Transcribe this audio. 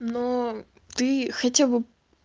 но ты хотя бы